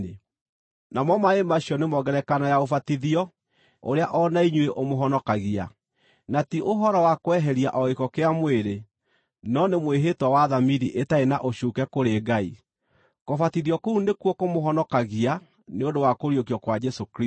namo maaĩ macio nĩmo ngerekano ya ũbatithio ũrĩa o na inyuĩ ũmũhonokagia, na ti ũhoro wa kweheria o gĩko kĩa mwĩrĩ, no nĩ mwĩhĩtwa wa thamiri ĩtarĩ na ũcuuke kũrĩ Ngai. Kũbatithio kũu nĩkuo kũmũhonokagia nĩ ũndũ wa kũriũkio kwa Jesũ Kristũ,